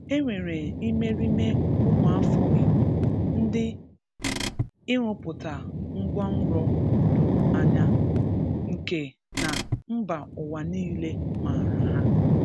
E nwere imerime ụmụafọ Igbo ndị ịrụpụta ngwanro doro anya, nke na mba ụwa niile maara ha.